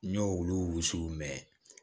N y'o olu wusuw mɛn